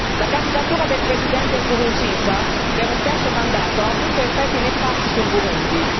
La candidatura del Presidente Nkurunziza per un terzo mandato ha avuto effetti nefasti sul Burundi.